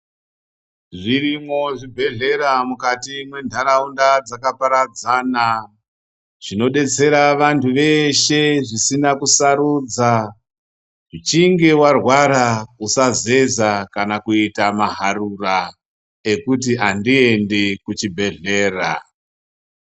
Zvirimwo zvibhedhlera mukati mwentaraunda dzakaparadzana zvinodetsera vantu veshe zvisina kusarudza. Uchinge warwara, usazeza kana kuita maharura, ekuti handiendi kuchibhedhlera.